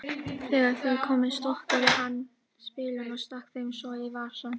Þegar þau komu stokkaði hann spilin og stakk þeim svo í vasann.